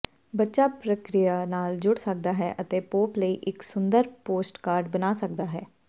ਬੱਚਾ ਪ੍ਰਕਿਰਿਆ ਨਾਲ ਜੁੜ ਸਕਦਾ ਹੈ ਅਤੇ ਪੋਪ ਲਈ ਇੱਕ ਸੁੰਦਰ ਪੋਸਟਕਾਰਡ ਬਣਾ ਸਕਦਾ ਹੈ